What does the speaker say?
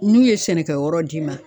N'u ye sɛnɛkɛ yɔrɔ d'i ma